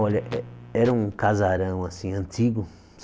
Olha, eh era um casarão, assim, antigo.